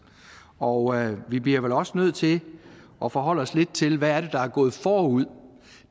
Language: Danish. og vi bliver vel også nødt til at forholde os lidt til hvad der er gået forud